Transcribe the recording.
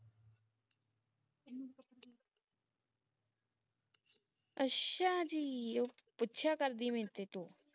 ਅੱਛਾ ਜੀ ਉਹ ਗੁੱਸਾ ਕਰਦੀ ਮੇਰੇ ਤੇ ਤੂੰ